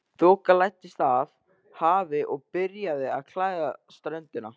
Þoka læddist af hafi og byrjaði að klæða ströndina.